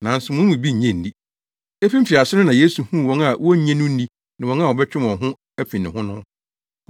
nanso mo mu bi nnye nni.” Efi mfiase no na Yesu huu wɔn a wonnye no nni ne wɔn a wɔbɛtwe wɔn ho afi ne ho no.